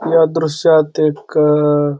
या दृश्यात एक अ --